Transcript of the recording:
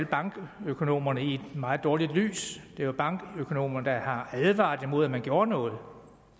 bankøkonomerne i et meget dårligt lys det er jo bankøkonomerne der har advaret imod at man gjorde noget